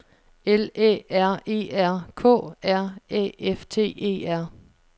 L Æ R E R K R Æ F T E R